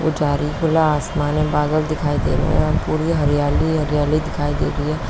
खुला आसमान है। बादल दिखाई दे रहे हैं और पूरी हरियाली-हरियाली दिखाई दे रही है।